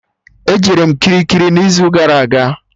E jere m Kirikiri n'izu gara aga